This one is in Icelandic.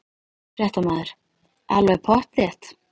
Fréttamaður: Alveg pottþétt?